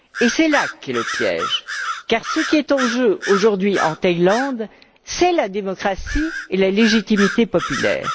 C'est là qu'est le piège, car ce qui en jeu aujourd'hui en Thaïlande, c'est la démocratie et la légitimité populaire.